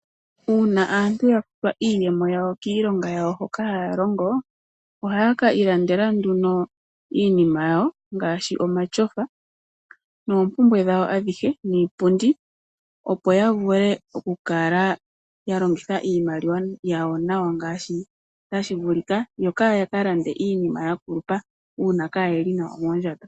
Uuna aantu ya futwa iiyemo ya wo kiilonga ya wo hoka haalongo, aheye kiilandela iinima ya wo ngaashi omatyofa noompumbwe dhawo dhiipundi opo ya vule okukala ya longitha iimaliwa yawo nawa ngaashi tashi vulika, yo kaya kalande iinima yakulupa uuna kayelimo nawa moondjato.